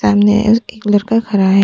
सामने और एक लड़का खड़ा है।